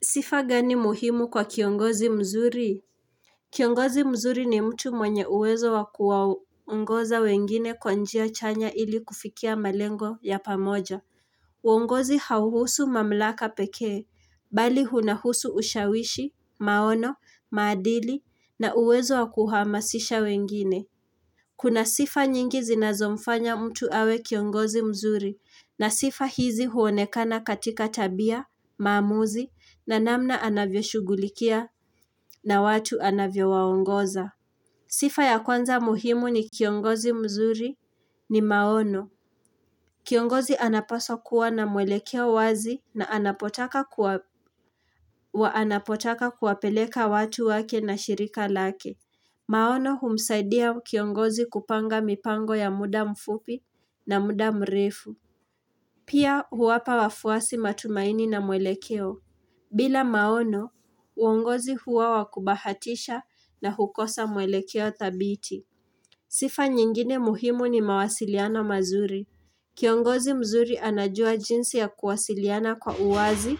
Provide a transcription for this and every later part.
Sifa gani muhimu kwa kiongozi mzuri? Kiongozi mzuri ni mtu mwenye uwezo wa kuwaongoza wengine kwa njia chanya ili kufikia malengo ya pamoja. Uongozi hauhusu mamlaka pekee, bali hunahusu ushawishi, maono, maadili, na uwezo wa kuhamasisha wengine. Kuna sifa nyingi zinazomfanya mtu awe kiongozi mzuri na sifa hizi huonekana katika tabia, maamuzi, na namna anavyoshugulikia na watu anavyowaongoza. Sifa ya kwanza muhimu ni kiongozi mzuri ni maono. Kiongozi anapaswa kuwa na mwelekeo wazi na anapotaka kuwapeleka watu wake na shirika lake. Maono humsaidia kiongozi kupanga mipango ya muda mfupi na muda mrefu. Pia huwapa wafuasi matumaini na mwelekeo. Bila maono, uongozi huwa wa kubahatisha na hukosa mwelekeo thabiti. Sifa nyingine muhimu ni mawasiliano mazuri. Kiongozi mzuri anajua jinsi ya kuwasiliana kwa uwazi,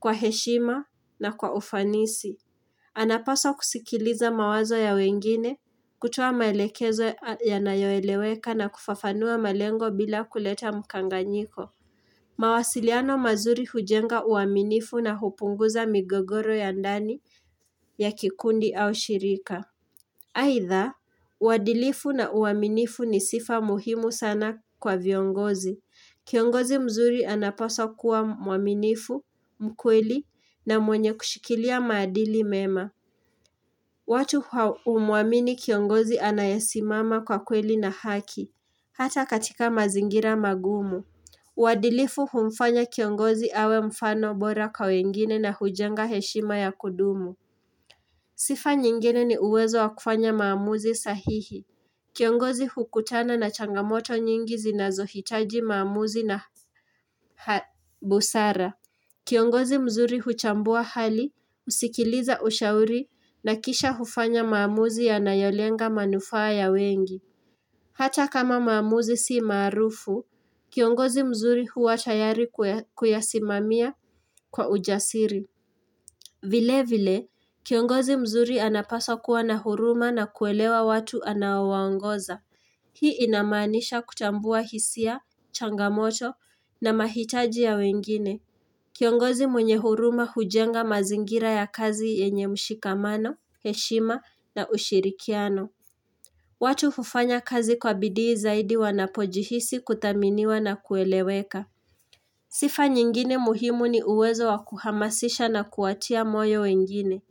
kwa heshima na kwa ufanisi. Anapasa kusikiliza mawazo ya wengine, kutoa maelekezo yanayoeleweka na kufafanua malengo bila kuleta mkanganyiko. Mawasiliano mazuri hujenga uaminifu na hupunguza migogoro ya ndani ya kikundi au shirika. Aidha, uadilifu na uaminifu ni sifa muhimu sana kwa viongozi. Kiongozi mzuri anapasa kuwa mwaminifu, mkweli na mwenye kushikilia maadili mema. Watu humuamini kiongozi anayesimama kwa kweli na haki, hata katika mazingira magumu. Uadilifu humfanya kiongozi awe mfano bora kwa wengine na hujenga heshima ya kudumu. Sifa nyingine ni uwezo wa kufanya maamuzi sahihi. Kiongozi hukutana na changamoto nyingi zinazohitaji maamuzi na busara. Kiongozi mzuri huchambua hali, husikiliza ushauri na kisha hufanya maamuzi yanayolenga manufaa ya wengi. Hata kama maamuzi si maarufu, kiongozi mzuri huwa tayari kuyasimamia kwa ujasiri. Vile vile, kiongozi mzuri anapasa kuwa na huruma na kuelewa watu anaowaongoza. Hii inamaanisha kutambua hisia, changamoto na mahitaji ya wengine. Kiongozi mwenye huruma hujenga mazingira ya kazi yenye mshikamano, heshima na ushirikiano. Watu hufanya kazi kwa bidii zaidi wanapojihisi kuthaminiwa na kueleweka. Sifa nyingine muhimu ni uwezo wa kuhamasisha na kuwatia moyo wengine.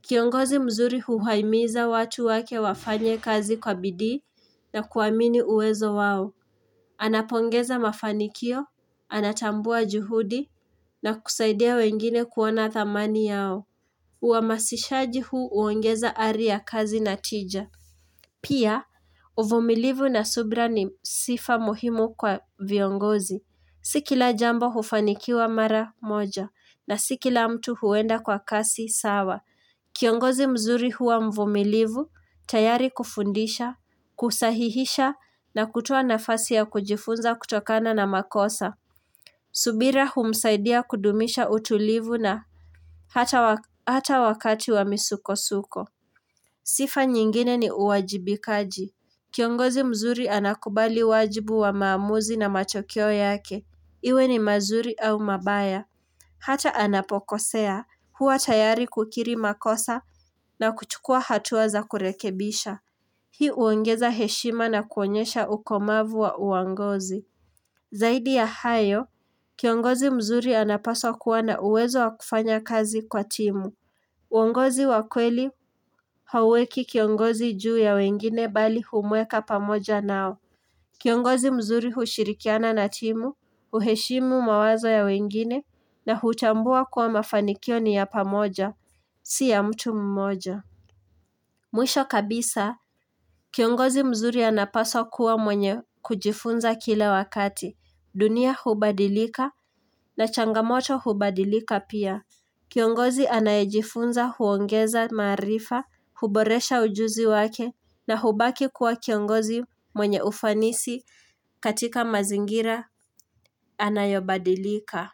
Kiongozi mzuri huwaimiza watu wake wafanye kazi kwa bidii na kuamini uwezo wao. Anapongeza mafanikio, anatambua juhudi na kusaidia wengine kuona thamani yao Uhamasishaji huu huongeza ari ya kazi na tija Pia, uvumilivu na subra ni sifa muhimu kwa viongozi Si kila jambo hufanikiwa mara moja na si kila mtu huenda kwa kasi sawa Kiongozi mzuri huwa mvumilivu, tayari kufundisha, kusahihisha na kutoa nafasi ya kujifunza kutokana na makosa. Subira humsaidia kudumisha utulivu na hata wakati wa misukosuko. Sifa nyingine ni uwajibikaji. Kiongozi mzuri anakubali wajibu wa maamuzi na matokeo yake. Iwe ni mazuri au mabaya. Hata anapokosea, huwa tayari kukiri makosa na kuchukua hatua za kurekebisha. Hii huongeza heshima na kuonyesha ukomavu wa uongozi. Zaidi ya hayo, kiongozi mzuri anapaswa kuwa na uwezo wa kufanya kazi kwa timu. Uongozi wa kweli hauweki kiongozi juu ya wengine bali humweka pamoja nao. Kiongozi mzuri hushirikiana na timu, huheshimu mawazo ya wengine na hutambua kuwa mafanikio ni ya pamoja, si ya mtu mmoja. Mwisho kabisa, kiongozi mzuri anapaswa kuwa mwenye kujifunza kile wakati, dunia hubadilika na changamoto hubadilika pia. Kiongozi anayejifunza huongeza maarifa, huboresha ujuzi wake na hubaki kuwa kiongozi mwenye ufanisi katika mazingira anayobadilika.